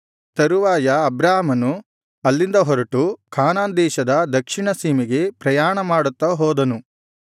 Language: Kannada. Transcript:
ತರುವಾಯ ಅಬ್ರಾಮನು ಅಲ್ಲಿಂದ ಹೊರಟು ಕಾನಾನ್ ದೇಶದ ದಕ್ಷಿಣ ಸೀಮೆಗೆ ಪ್ರಯಾಣ ಮಾಡುತ್ತಾ ಹೋದನು